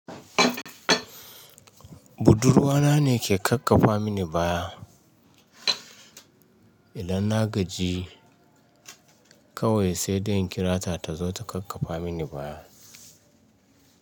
Budurwa na ne ke kakkafa mini baya. Idan na gaji, kawai sai dai in kira ta, ta zo ta kakkafa mini baya.